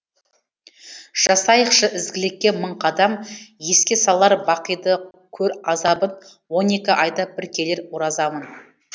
жасайықшы ізгілікке мың қадам еске салар бақиды көр азабын он екі айда бір келер оразамын